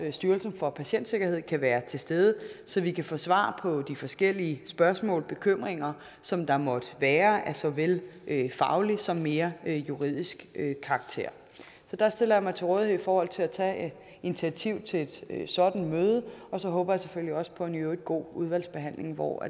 styrelsen for patientsikkerhed kan være til stede så vi kan få svar på de forskellige spørgsmål bekymringer som der måtte være af såvel faglig som mere juridisk karakter der stiller jeg mig til rådighed i forhold til at tage initiativ til et sådant møde og så håber jeg selvfølgelig også på en i øvrigt god udvalgsbehandling hvor